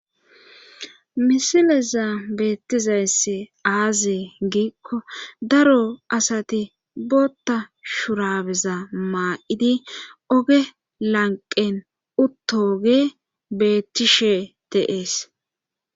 misileza beettizayssi aazee giikko daro asati bootta shurabeza maa'idi oge lanqen uttooge bettishe de'ees